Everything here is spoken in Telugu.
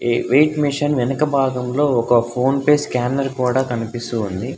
వెయిట్ మిషన్ వెనుక భాగంలో ఒక ఫోన్పే స్కానర్ కూడా కనిపిస్తుంది.